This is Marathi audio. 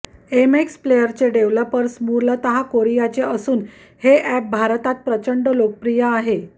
एमएक्स प्लेयरचे डेव्हलपर्स मूलतः कोरियाचे असून हे अॅप भारतात प्रचंड लोकप्रिय आहे